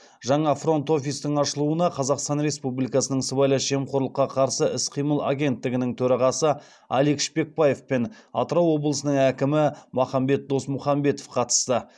жаңа фронт офистің ашылуына қазақстан республикасының сыбайлас жемқорлыққа қарсы іс қимыл агенттігінің төрағасы алик шпекбаев пен атырау облысының әкімі махамбет досмұхамбетов қатысты